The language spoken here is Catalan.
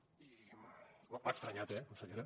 i m’ha estranyat eh consellera